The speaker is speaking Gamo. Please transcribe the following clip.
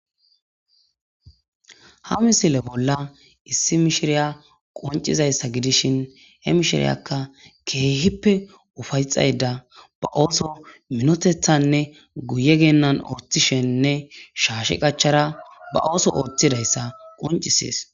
Ha misile bolla issi mishiriya qoncizayssa gidishin he mishiriyakka keehippe ufayxayda ba ooso minotethanne guye geennan ortishennne shaashe qachara ba ooso ooththidayssa qoncisees.